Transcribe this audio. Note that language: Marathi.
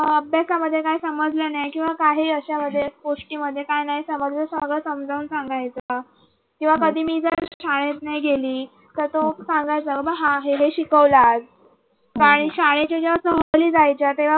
अभ्यासामध्ये काय समजलं नाही किंवा काही अशा मध्ये गोष्टींमध्ये काय नाही समजलं सगळं समजावून सांगायचा किंवा कधी मी जर शाळेत नाही गेली तर तो सांगायचं बाबा ह हे हे शिकवले आज आणि शाळेच्या जेव्हा सहली जायच्या.